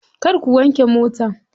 Kar ku wanke mota.